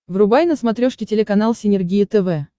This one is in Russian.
врубай на смотрешке телеканал синергия тв